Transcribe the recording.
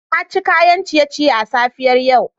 Na ci kayan ciye-ciye a safiyar yau